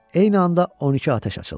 Eyni anda 12 atəş açıldı.